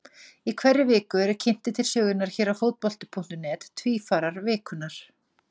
Í hverri viku eru kynntir til sögunnar hér á Fótbolti.net Tvífarar vikunnar.